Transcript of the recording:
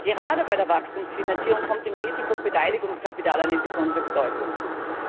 Gerade bei der Wachstumsfinanzierung kommt dem Risiko und Beteiligungskapital besondere Bedeutung zu.